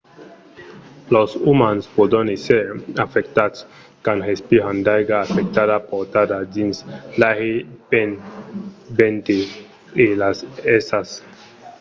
los umans pòdon èsser afectats quand respiran d'aiga afectada portada dins l'aire pel vent e las èrsas